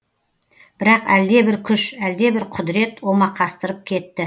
бірақ әлдебір күш әлдебір құдірет омақастырып кетті